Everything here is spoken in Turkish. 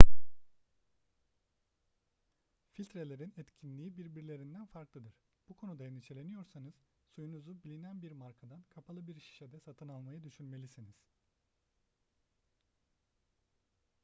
filtrelerin etkinliği birbirlerinden farklıdır bu konuda endişeleniyorsanız suyunuzu bilinen bir markadan kapalı bir şişede satın almayı düşünmelisiniz